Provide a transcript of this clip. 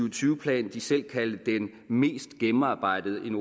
og tyve plan de selv kaldte den mest gennemarbejdede en